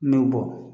Ne bɔ